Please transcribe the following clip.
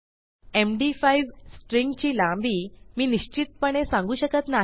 MD five string ची लांबी मी निश्चितपणे सांगू शकत नाही